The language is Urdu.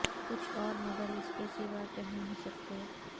کچھ اور مگر اس کے سوا کہہ نہیں سکتے